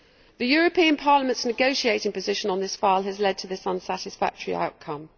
The European Parliament's negotiating position on this file has led to this unsatisfactory outcome.